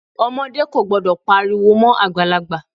Ọmọdé kò gbọdọ̀ pariwo mọ́ Àgbàlagbà.